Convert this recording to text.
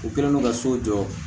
U kɛlen don ka so jɔ